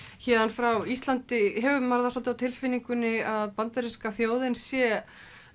héðan frá Íslandi hefur maður svolítið á tilfinningunni að bandaríska þjóðin sé